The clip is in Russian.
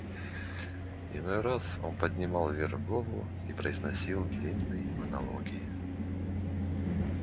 иной раз он поднимал вверх голову и произносил длинные монологи